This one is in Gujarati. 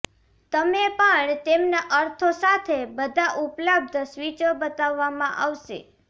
તમે પણ તેમના અર્થો સાથે બધા ઉપલબ્ધ સ્વીચો બતાવવામાં આવશે